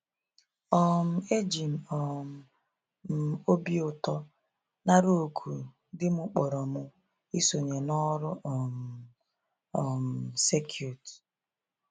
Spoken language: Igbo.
um Eji um m obi ụtọ narụ òkù di mụ kpọrọ mụ isonye ya n'ọrụ um um circuit.